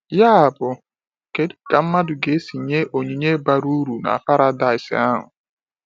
Yabụ, kedu ka mmadụ ga-esi nye onyinye bara uru na paradaịs ahụ?